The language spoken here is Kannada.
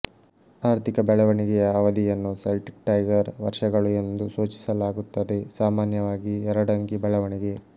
ಆರ್ಥಿಕ ಬೆಳವಣಿಗೆಯ ಅವಧಿಯನ್ನು ಸೆಲ್ಟಿಕ್ಟೈಗರ್ ವರ್ಷಗಳು ಎಂದು ಸೂಚಿಸಲಾಗುತ್ತದೆಸಾಮಾನ್ಯವಾಗಿ ಎರಡಂಕಿ ಬೆಳವಣಿಗೆ